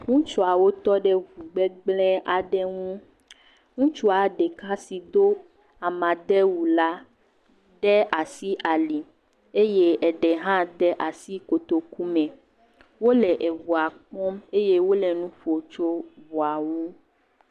Ŋutsuawo tɔ ɖe ŋu gbegblẽ aɖe ŋu, ŋutsua ɖeka si do amagbewu la de asi ali eye eɖe hã de asi kotoku me, wole eŋua kpɔm eye wole nu ƒom tso eŋua ŋu.